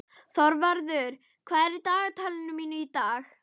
Þorvarður, hvað er í dagatalinu mínu í dag?